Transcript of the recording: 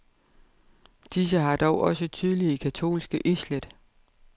Disse har dog også tydelige katolske islæt.